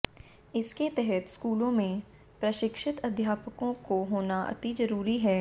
इसके तहत स्कूलों में प्रशिक्षित अध्यापकों का होना अति जरूरी है